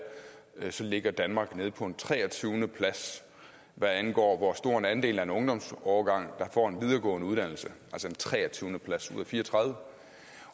så ligger danmark nede på en treogtyvende plads hvad angår hvor stor en andel af en ungdomsårgang der får en videregående uddannelse altså en treogtyvende plads ud af fire og tredive